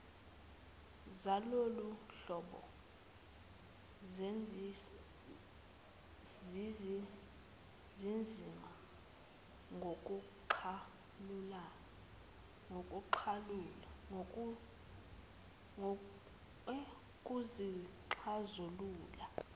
zaloluhlobo zinzima kuzixazulula